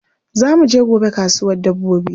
Za mu je gobe kasuwar dabbobi.